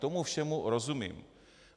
Tomu všemu rozumím.